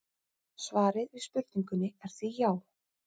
Svarið við spurningunni er því já!